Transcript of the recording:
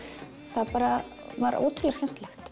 það var ótrúlega skemmtilegt